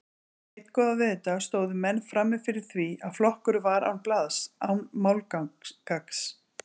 Einn góðan veðurdag stóðu menn frammi fyrir því að flokkurinn var án blaðs, án málgagns.